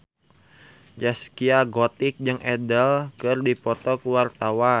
Zaskia Gotik jeung Adele keur dipoto ku wartawan